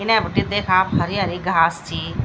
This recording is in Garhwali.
इने बटी देखा आप हरी-हरी ची।